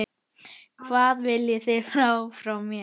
Hvað viljið þið frá mér?